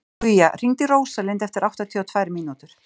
Guja, hringdu í Rósalind eftir áttatíu og tvær mínútur.